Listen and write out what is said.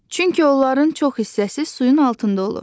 Çünki onların çox hissəsi suyun altında olur.